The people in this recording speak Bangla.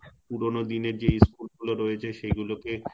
পুরনো দিনের যেই school গুলো রয়েছে সে গুলো কে,